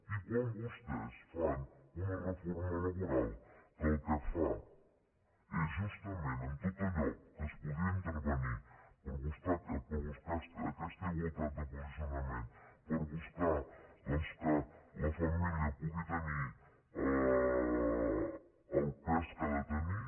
i quan vostès fan una reforma laboral que el que fa és justament en tot allò que es podia intervenir per buscar aquesta igualtat de posicionament per buscar doncs que la família pugui tenir el pes que ha de te·nir